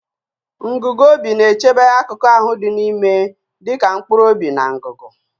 Ngugu obi na-echebe akụkụ ahụ dị n'ime dịka mkpụrụ obi na ngụgụ.